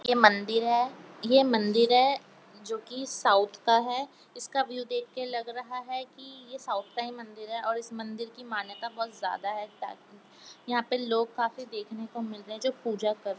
ये मंदिर हैं ये मंदिर हैं जो की साउथ का है इसका व्यू देख के लग रहा हैं कि यह साउथ का मंदिर हैं और इस मंदिर की मान्यता बहुत ज्यादा हैं ताकि यहाँ पे लोग काफी देखने को मिल रहे है जो पूजा कर --